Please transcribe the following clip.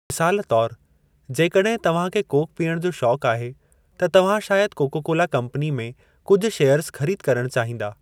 मिसालु तौर, जेकॾहिं तव्हां खे कोक पीअण जो शौक़ आहे, त तव्हां शायदि कोका कोला कम्पनी में कुझु शेयर्ज़ ख़रीद करणु चाहींदा।